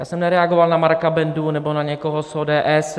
Já jsem nereagoval na Marka Bendu nebo na někoho z ODS.